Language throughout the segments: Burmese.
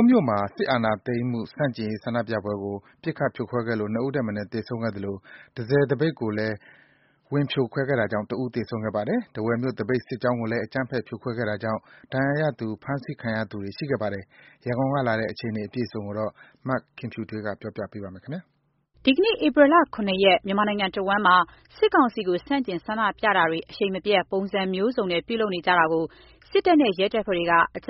းမြို့မှာ စစ်အာဏာသိမ်းမှုဆန့်ကျင်ရေး ဆန္ဒပြပွဲကို ပစ်ခတ်ဖြိုခွဲလို့ ၂ ဦးထက်မနည်း သေဆုံးခဲ့သလို တန့်ဆည်သပိတ်ကိုလည်း ဝင်ဖြိုခွဲတာကြောင့် တစ်ဦးသေဆုံးခဲ့ပါတယ်။ ထားဝယ်မြို့ သပိတ်စစ်ကြောင်းကိုလည်း အကြမ်းဖက်ဖြိုခွဲတာကြောင့် ဒဏ်ရာရသူ ဖမ်းဆီးခံရသူတွေ ရှိခဲ့ပါတယ်။ ရန်ကုန်ကလာတဲ့ ဒီအခြေအနေအပြည့်အစုံကို မခင်ဖြူထွေးက ပြောပြထားပါတယ်။ ဒီကနေ့ ဧပြီ ၇ ရက် မြန်မာနိုင်ငံတဝန်းမှာ စစ်ကောင်စီကို ဆန့်ကျင် ဆန္ဒပြတာတွေ အရှိန်မပြတ် ပုံစံမျိုးစုံနဲ့ ပြုလုပ်နေကြတာကို စစ်တပ်နဲ့ ရဲက အကြ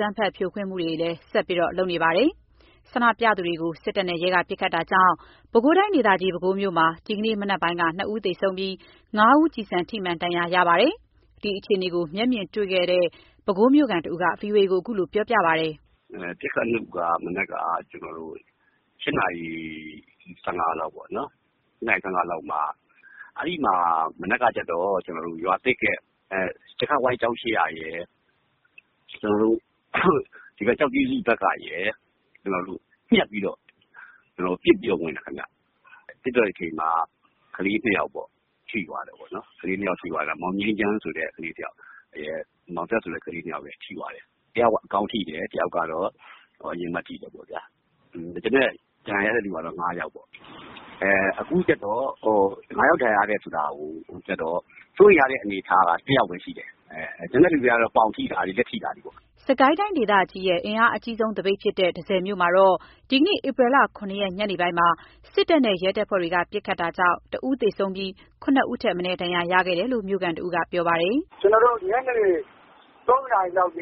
မ်းဖက်ဖြိုခွင်းမှုတွေ ဆက်လက်ပြုလုပ်နေတာပါ။ ဆန္ဒပြသူတွေကို စစ်တပ်နဲ့ ရဲက ပစ်ခတ်တာကြောင့် ပဲခူးတိုင်းဒေသကြီး ပဲခူးမြို့မှာ ဒီကနေ့ မနက်ပိုင်း ၂ ဦးသေဆုံးပြီး ၅ ဦး ကျည်ဆံထိမှန် ဒဏ်ရာ ရရှိခဲ့ပါတယ်။ ဒီအခြေအနေကို မျက်မြင်တွေ့ရှိသူ ပဲခူးမြို့ခံတဦးက ဗွီအိုအေကို အခုလိုပြောပြပါတယ်။ “ပစ်ခတ်မှုက မနက်က ကျွန်တော်တို့ ၈ နာရီ ၁၅ လောက်ပေါ့နော်။ ရွာသစ်ရဲ့ ကြက်ခတ်ဝိုင်းကျောင်းရှေ့ကရယ် ကျောက်ကြီးစုဘက်ကရယ် ညှပ်ပြီးတော့ပစ်ပြီးတော့ ဝင်တယ်ခင်ဗျ။ ပစ်တဲ့အချိန်မှာ ကလေး ၂ ယောက် ထိသွားတယ်ပေါ့နော်။ မောင်ငြိမ်းချမ်းဆိုတဲ့ ကလေးတယောက်ရယ် မောင်သက် ဆိုတဲ့ ကလေးတယောက်ရယ် ထိသွားတယ်။ တယောက်က ခေါင်းထိတယ်။ တယောက်က ရင်ဘတ် ထိတယ်ပေါ့ဗျာ။ ကျန်တဲ့ ဒဏ်ရာရတဲ့သူကတော့ ၅ ယောက်ပေါ့။ ၅ ယောက်ဒဏ်ရာရတဲ့ထဲမှာ စိုးရိမ်ရတဲ့အနေအထားက ၁ ယောက်ပဲရှိတယ်။ ကျန်တဲ့သူတွေက ပေါင်ထိတာတွေ လက်ထိတာတွေပေါ့။” စစ်ကိုင်းတိုင်းဒေသကြီးရဲ့ အင်အားအကြီးဆုံး သပိတ်ဖြစ်တဲ့ တန့်ဆည်မြို့မှာတော့ ဒီကနေ့ ဧပြီ ၇ ရက် ညနေပိုင်းမှာ စစ်တပ်နဲ့ ရဲက ပစ်ခတ်တာကြောင့် ၁ ဦးသေဆုံးပြီး ၇ ဦးထက်မနည်း ဒဏ်ရာရရှိခဲ့တယ်လို့ မြို့ခံ ၁ ဦးကပြောပါတယ်။ “ကျနော်တို့ ညနေ ၃ နာရီလောက်က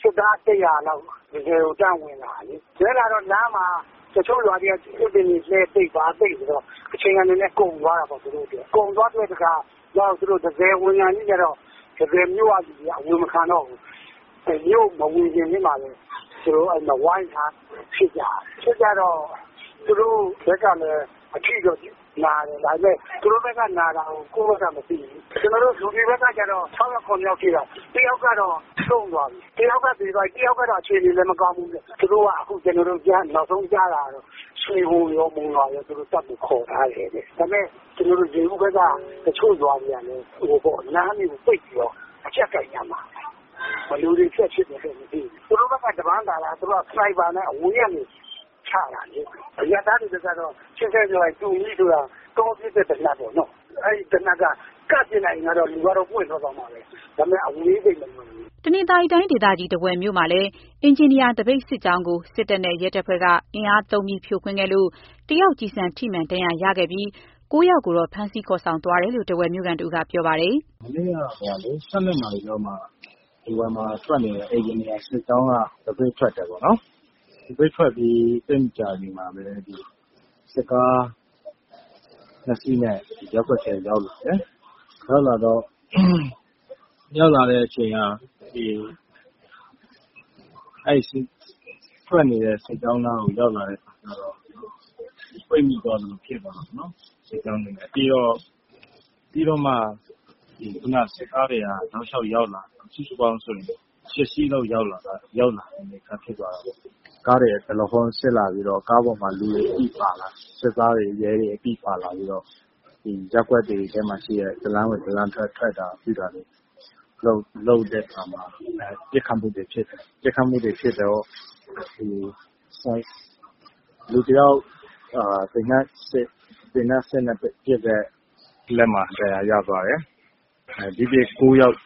စစ်သား ၁၀၀ လောက်ဝင်လာတယ်။ ဝင်လာတော့လမ်းမှာ တချို့ရွာတွေက သစ်ပင်တွေလှဲထားတော့ သူတို့ အချိန်ကြာသွားတာပေါ့။ ကုန်သွားတော့သူတို့ တန့်ဆည်ဝင်ခါနီးကျတော့မြို့ကအဝင်မခံတော့ဘူး ဝင်ခါနီးမှာဝိုင်းထားပြီး ဖြစ်ကြတာပေါ့။ ဖြစ်တော့ သူတို့ဘက်ကတော့ အဖြစ်နာတယ်။ ဘယ်လောက်ထိလဲ ကျနော်တို့မသိဘူး ကျနော်တို့ဘက်က ၆ ယောက် ၇ ယောက်ထိတယ်။ တယောက်ကတော့ဆုံးသွားပြီ။ နောက်တယောက်ကလည်းစိုးရိမ်ရတယ်။ ခုကတော့ သူတို့က ရွှေဘိုနဲ့ မုံရွာဘက်က စစ်ကူတောင်းထားတယ်ကြားတယ်။ ရေဦးဘက်ကလည်း လမ်းတွေကို ပိတ်ပြီးအကျပ်ကိုင်မယ်။ ဘယ်လိုဆက်ဖြစ်မယ်မသိဘူး။ သူတို့ဘက်က တပန်းသာတာ သူတို့က စနိုက်ပါဆိုတော့ တပန်းသာတယ်။ ကျနော်တို့က တူမီးနဲ့ပစ်ရတာ။ တောပစ်သေနတ်ပေါ့ နီးပစ်မှ ရတယ်။ နီးရင်တော့ ပွင့်တာပေါ့။ အဝေးတော့မရဘူး။" တနင်္သာရီတိုင်းဒေသကြီး ထားဝယ်မြို့မှာလည်း အင်ဂျင်နီယာ သပိတ်စစ်ကြောင်းကို စစ်တပ်နဲ့ရဲတပ်ဖွဲ့က အင်အားသုံးပြီး ဖြိုခွင်းခဲ့လို့ တယောက် ကျည်ဆံထိမှန် ဒဏ်ရာရရှိခဲ့ပြီး ၉ ယောက်ကို ဖမ်းဆီးသွားတယ်လို့ ထားဝယ် မြို့ခံ ၁ ဦးက ပြောပါတယ်။ “မနက်က ၁၂ နာရီလောက်မှာ ထားဝယ်မှာ အင်ဂျင်နီယာစစ်ကြောင်းက သပိတ်ထွက်တယ်ပေါ့နော်။ သပိတ်ထွက်ပြီး သိပ်မကြာခင်မှာပဲ စစ်ကား ၂ စီးနဲ့ ရပ်ကွက်ထဲရောက်လာတယ်။ ထွက်နေတဲ့ စစ်ကြောင်းနားကို ရောက်လာတဲ့အခါကျတော့ ပိတ်မိသွားသလို ဖြစ်သွားတာပေါ့နော်။ ပြီးတော့ စစ်ကားတွေက တောက်လျှောက် ရောက်လာပြီး စုစုပေါင်းဆိုရင် ၈ စီးလောက် ရောက်လာတဲ့ အနေအထား ဖြစ်သွားတာပေါ့နော်။ ကားတွေက ဒလဟောဆင်းလာပြီးတော့ ကားတွေပေါ် လူတွေအပြည့်ပါလာတယ်။ စစ်သားတွေ ရဲတွေအပြည့်ပါလာပြီးတော့ ရပ်ကွက်တွေထဲမှာရှိတဲ့ တလမ်းဝင်တလမ်းထွက် လုပ်တဲ့အခါမှာ ပစ်ခတ်မှုတွေ ဖြစ်တယ်။ ပစ်ခတ်မှုတွေဖြစ်တော့ သေနတ်အစစ်နဲ့ပစ်တဲ့ လက်မှာ ဒဏ်ရာရသွားတယ်။ ဒီ့အပြင် ၉ ယောက်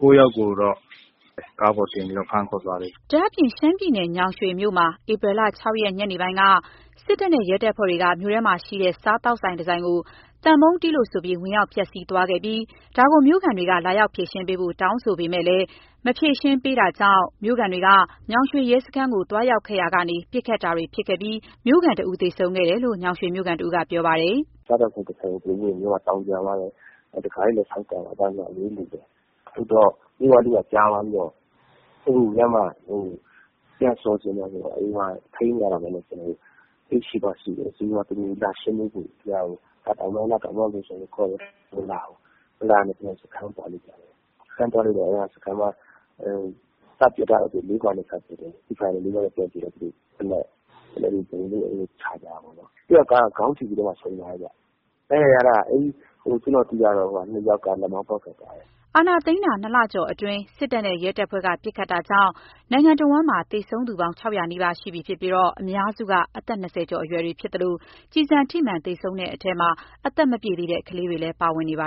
ကိုတော့ ကားပေါ်တင်ပြီး ဖမ်းခေါ်သွားတယ်။” ဒါ့အပြင် ရှမ်းပြည်နယ် ညောင်ရွှေမြို့မှာ ဧပြီ ၆ ရက်နေ့ ညပိုင်းက စစ်တပ်နဲ့ရဲတပ်ဖွဲ့က မြို့ထဲရှိ စားသောက်ဆိုင်တဆိုင်ကို သံပုံးတီးလို့ ဝင်ရောက်ဖျက်ဆီးသွားပြီး မြို့ခံတွေက လာရောက် ဖြေရှင်းပေးဖို့ တောင်းဆိုပေမယ့် မဖြေရှင်းပေးလို့ မြို့ခံတွေက ညောင်ရွှေရဲစခန်းကို သွားရောက်ရာကနေ ပစ်ခတ်တာတွေ ဖြစ်ပွားခဲ့ပြီး မြို့ခံ ၁ ဦး သေဆုံးခဲ့တယ်လို့ ညောင်ရွှေမြို့ခံ ၁ ဦးက ပြောပါတယ်။ “စားသောက်ဆိုင်တဆိုင်ကို သူတို့က ဝင်ပြီးတော့ သောင်းကျန်းသွားတယ်။ တံခါးတွေလည်း ဆောင့်ကန်သွာ တယ်ဆိုတော့ မြို့ကလူက ကြားသွားပြီးတော့ ပြန်ဆော်ချင်တော့ ထိန်းမရဘူး။ သူတို့ကို လာဆွေးနွေးဖို့ ခေါ်တယ် မလာဘူး။ မလာတော့ စခန်းသွားကြတယ်။ သွားတော့ စပစ်တာ လေးဂွနဲ့စပစ်တယ်။ ပစ်တော့ သေနတ်နဲ့ ပြန်ပစ်ပြီး ချကြတာပေါ့။ တယောက်က ခေါင်းထိပြီးတော့ ဆုံးသွားတယ်ခင်ဗျ။ ဒဏ်ရာရတာက ကျွန်တော်သိသလောက် လက်မောင်းပေါက်ထွက်သွားတယ်။” အာဏာသိမ်းတာ ၂ လကျော်အတွင်း စစ်တပ်နဲ့ ရဲတပ်ဖွဲ့က ပစ်ခတ်တာကြောင့် နိုင်ငံတဝန်းမှာ သေဆုံးသူ ၆၀၀ နီးပါး ရှိပြီဖြစ်ပြီး အများစုက အသက် ၂၀ ကျော်အရွယ်တွေဖြစ်သလို ကျည်ဆံထိမှန် သေဆုံးတဲ့အထဲမှာ အသက်မပြည့်သေးတဲ့ ကလေးတွေလည်း ပါဝင်နေပါ